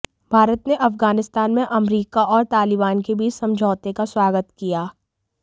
भारत ने अफगानिस्तान में अमेरिका और तालिबान के बीच समझौते का स्वागत किया